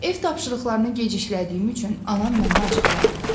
Ev tapşırıqlarını geciklədiyim üçün anam mənə acıqlandı.